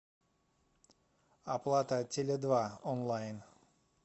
оплата теле два онлайн